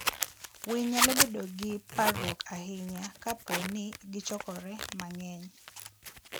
winy nyalo bedo gi parruok ahinya kapo ni gichokore mang'eny.